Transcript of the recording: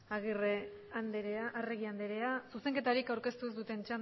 eskerrik asko arregi anderea zuzenketarik aurkeztu ez duten